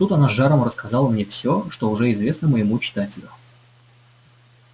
тут она с жаром рассказала всё что уже известно моему читателю